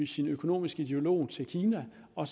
sin økonomiske ideolog til kina og